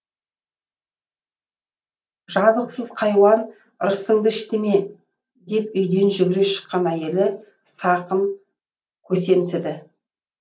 жазықсыз хайуан ырысыңды ішті ме деп үйден жүгіре шыққан әйелі сақым көсемсіді